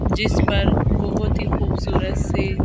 जिस पर बहुत ही खूबसूरत से--